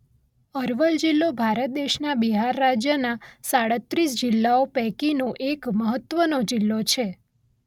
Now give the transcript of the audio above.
અરવલ જિલ્લો ભારત દેશના બિહાર રાજ્યના સાડત્રિસ જિલ્લાઓ પૈકીનો એક મહત્વનો જિલ્લો છે.